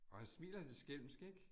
Og han smiler lidt skælmsk ik